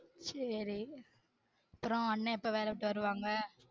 சேரி அப்புறம் அண்ணே எப்போ வேல விட்டு வருவாங்க